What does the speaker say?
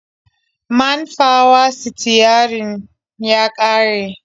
Man fawa-sitiyarin ya ƙare.